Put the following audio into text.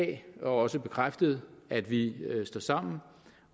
det er også bekræftet at vi står sammen